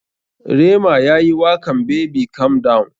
Rema yayi wakan [baby calm down].